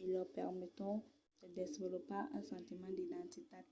e lor permeton de desvolopar un sentiment d'identitat